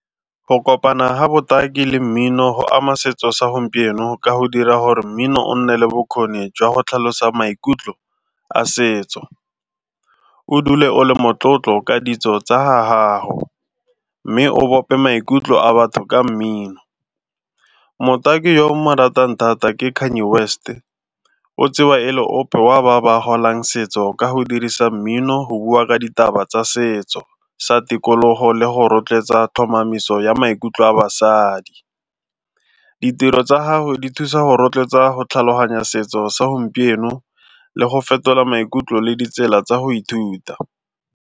Go kopana ga botaki le mmino go ama setso sa gompieno ka go dira gore mmino o nne le bokgoni jwa go tlhalosa maikutlo a setso, o dule o le motlotlo ka ditso tsa ha haho mme o bope maikutlo a batho ka mmin. Motaki yo ke mo ratang thata ke Kanye West, o tsewa e le ope wa ba ba golang setso ka go dirisa mmino go bua ka ditaba tsa setso sa tikologo le go rotloetsa tlhomamiso ya maikutlo a basadi. Ditiro tsa gagwe di thusa go rotloetsa go tlhaloganya setso sa gompieno le go fetola maikutlo le ditsela tsa go ithuta.